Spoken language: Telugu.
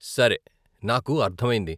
సరే, నాకు అర్ధమైంది.